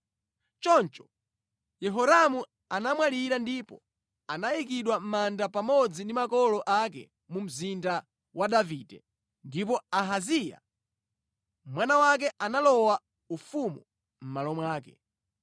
Choncho Yehoramu anamwalira ndipo anayikidwa mʼmanda pamodzi ndi makolo ake mu Mzinda wa Davide. Ndipo Ahaziya mwana wake analowa ufumu mʼmalo mwake.